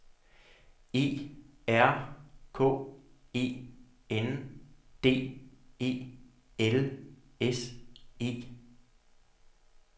E R K E N D E L S E